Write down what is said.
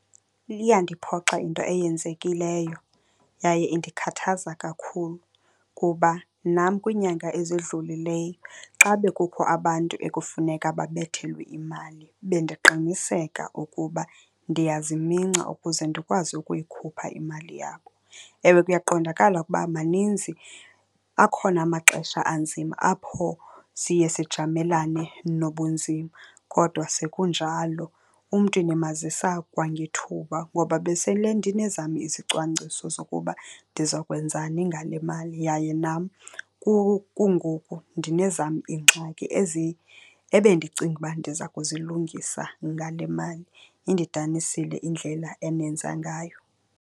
Iyandiphoxa into eyenzekileyo yaye indikhathaza kakhulu kuba nam kwiinyanga ezidlulileyo xa bekukho abantu ekufuneka babethelwe imali, bendiqiniseka ukuba ndiyaziminca ukuze ndikwazi ukuyikhupha imali yabo. Ewe, kuyaqondakala ukuba maninzi akhona amaxesha anzima apho siye sijamelene nobunzima, kodwa sekunjalo umntu ndimazisa kwangethuba ngoba besele ndinezam izicwangciso zokuba ndizokwenzani ngale mali. Yaye nam kungoku ndinezam iingxaki ezi ebendicinga uba ndiza kuzilungisa ngale mali. Indidanisile indlela enenza ngayo.